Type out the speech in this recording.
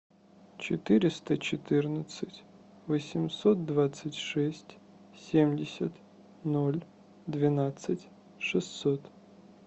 четыреста четырнадцать восемьсот двадцать шесть семьдесят ноль двенадцать шестьсот